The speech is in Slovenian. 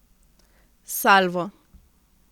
Salvo.